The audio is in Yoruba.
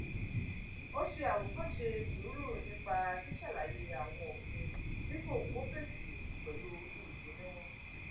ó ṣe àwòkóṣe sùúrù nípa ṣíṣàlàyé àwọn òfin dípò kó fèsì pẹlú ìbínú